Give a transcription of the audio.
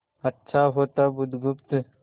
अच्छा होता बुधगुप्त